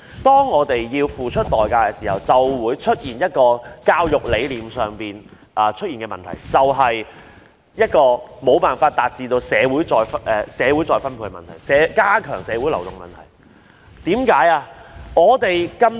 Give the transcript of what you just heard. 當學生要付出代價時，就會出現一個教育理念上的問題，無法達致社會再分配、加強社會流動。